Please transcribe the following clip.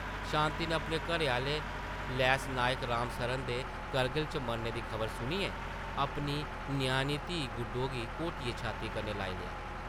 शांति नै अपने घरैआह्ले लैंस नायक राम सरन दे करगिल च मरने दी खबर सुनियै अपनी ञ्याणी धी गुड्डो गी घोटियै छात्ती कन्नै लाई लेआ ।